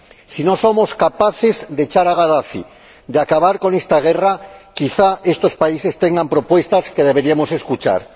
Si no somos capaces de echar a Gadafi y de acabar con esta guerra, quizá estos países tengan propuestas que deberíamos escuchar.